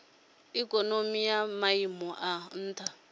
ikonomi ya maiimo a nha